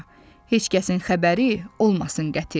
Heç kəsin xəbəri olmasın qəti.